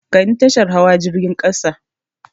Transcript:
Kai ni tashar hawa jirgin ƙasa!